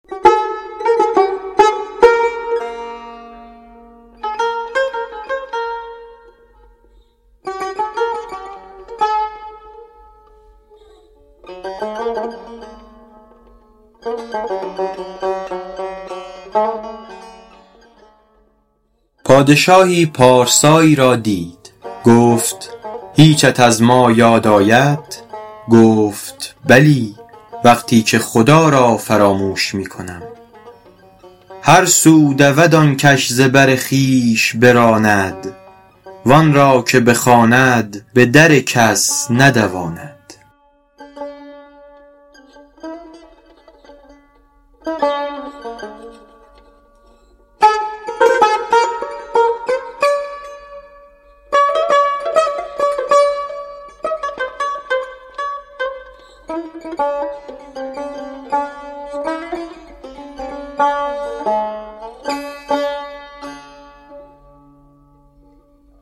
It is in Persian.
پادشاهی پارسایی را دید گفت هیچت از ما یاد آید گفت بلی وقتی که خدا را فراموش می کنم هر سو دود آن کش ز بر خویش براند وآن را که بخواند به در کس ندواند